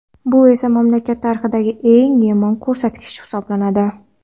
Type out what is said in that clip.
Bu esa mamlakat tarixidagi eng yomon ko‘rsatgich hisoblanadi.